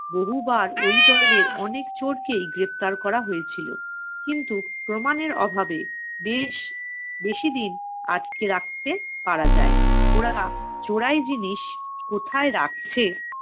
বহুবার ওই দলের অনেক চোরকেই গ্রেপ্তার করা হয়েছিল, কিন্তু প্রমানের অভাবে বেশ~ বেশিদিন আটকে রাখতে পারা যায় নি। ওরা চোরাই জিনিস কোথায় রাখছে